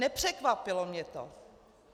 Nepřekvapilo mě to.